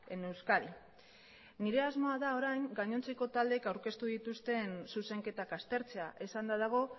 en euskadi nire asmoa da orain gainontzeko taldeek aurkeztu dituzten zuzenketak aztertzea esanda dago